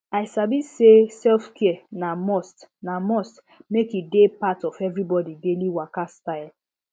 i sabi say selfcare na must na must make e dey part of everybody daily waka style